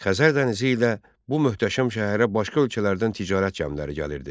Xəzər dənizi ilə bu möhtəşəm şəhərə başqa ölkələrdən ticarət gəmiləri gəlirdi.